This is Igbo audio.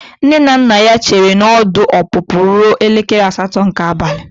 Nne na nna ya chere na ọdụ ọpụpụ ruo elekere asatọ nke abalị.